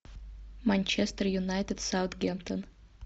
манчестер юнайтед саутгемптон